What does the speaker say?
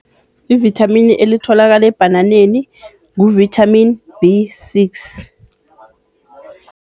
Ivithamini elitholakala ebhananeni ngu-vitamin B six.